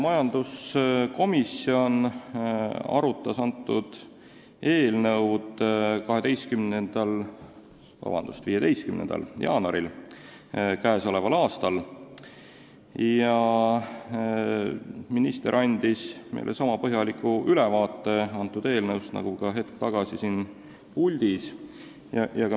Majanduskomisjon arutas seda eelnõu 15. jaanuaril k.a. Minister andis meile eelnõust sama põhjaliku ülevaate nagu ka hetk tagasi siin puldis.